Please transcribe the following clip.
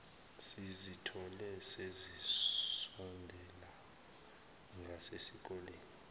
sizithole sesisondele ngasesikoleni